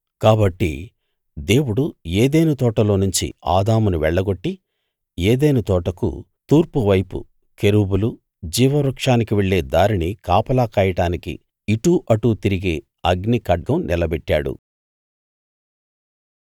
కాబట్టి దేవుడు ఏదెను తోటలోనుంచి ఆదామును వెళ్ళగొట్టి ఏదెను తోటకు తూర్పు వైపు కెరూబులు జీవవృక్షానికి వెళ్ళే దారిని కాపలా కాయడానికి ఇటు అటు తిరిగే అగ్నిఖడ్గం నిలబెట్టాడు